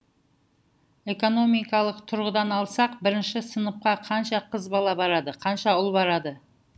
экономикалық тұрғыдан алсақ бірінші сыныпқа қанша қыз бала барады қанша ұл бала барады